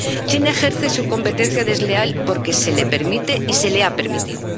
China ejerce su competencia desleal porque se le permite y se le ha permitido.